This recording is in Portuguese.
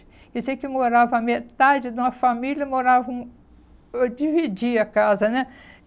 E você que morava a metade de uma família, moravam... Eu dividia a casa, né?